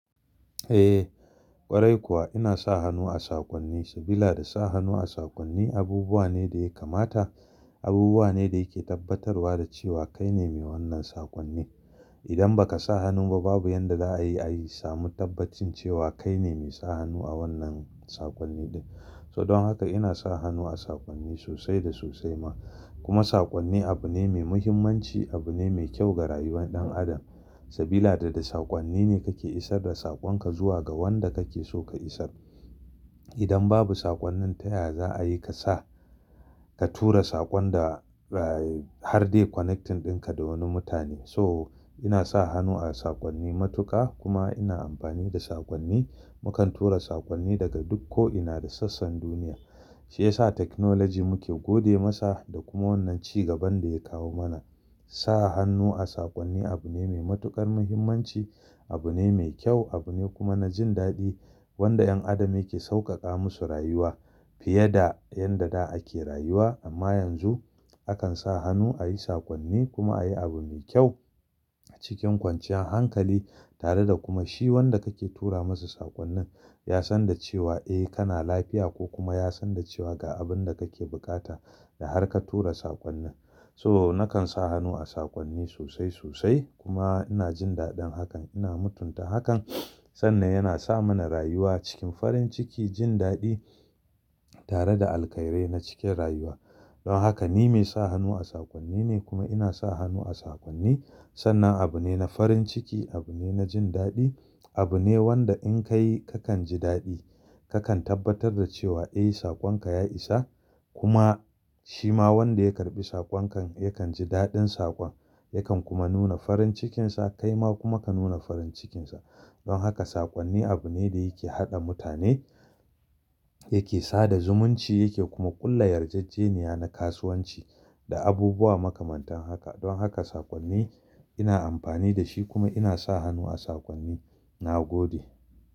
Eh ƙwarai kuwa ina sa hannu a sakonni, sabida sa hannu a sakonni abubuwa ne da ya kamata, abubuwa ne da yake tabbatarwa da cewa kai ne mai wannan sakonni. Idan ba ka sa hannu ba babu yanda za a iya samu tabbacin cewa kai ne mai sa hannu a wannan sakonni ɗin. So don haka ina sa hannu a sakonni sosai da sosai ma. Kuma sakonni abu ne mai muhimmanci, abu ne mai kyau ga rayuwar ɗan adam. Sabida da sakonni ne kake isar da sakon ka zuwa ga wanda kake so ka isar. Idan babu sakonnin taya za a yi ka sa, ka tura sakon da har dai connecting ɗinka da wani mutane. So ina sa hannu a sakonni matuƙa kuma ina amfani da sakonni. Mukan tura sakonni daga duk ko ina da sassan duniya. Shi yasa technology muke gode masa da kuma wannan ci gaban da ya kawo mana. Sa hannu a sakonni abu ne mai matuƙar muhimmanci, abu ne mai kyau, abu ne kuma na jin daɗi wanda 'yan adam yake sauƙaƙa musu rayuwa fiye da yanda da ake rayuwa. Amma yanzu akan sa hannu a yi sakonni kuma a yi abu mai kyau cikin kwanciyar hankali tare da kuma shi wanda kake tura masa sakonnan ya san da cewa eh kana lafiya ko kuma ya san da cewa ga abun da kake buƙata da har ka tura sakonnin. So nakan sa hannu a sakonni sosai sosai kuma ina jin daɗin hakan. Ina mutunta hakan sannan yana sa mana rayuwa cikin farin ciki, jin daɗi tare da alkhairai na cikin rayuwa. Don haka ni mai sa hannu a sakonni ne kuma ina sa hannu a sakonni sannan abu ne na farin ciki, abu ne na jin daɗi, abu ne wanda in ka yi kakan ji daɗi. Kakan tabbatar da cewa eh sakon ka ya isa kuma shi ma wanda ya karɓi sakon kan yakan ji daɗin sakon. Yakan kuma nuna farin cikinsa kai ma kuma ka nuna farin cikinsa. Don haka sakonni abu ne da yake haɗa mutane, yake sada zumunci yake kuma ƙulla yarjejeniya na kasuwanci da abubuwa makamantan haka. Don haka sakonni ina amfani da shi kuma ina sa hannu a sakonni. Na gode.